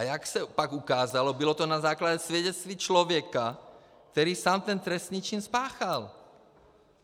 A jak se pak ukázalo, bylo to na základě svědectví člověka, který sám ten trestný čin spáchal!